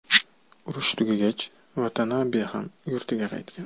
Urush tugagach, Vatanabe ham yurtiga qaytgan.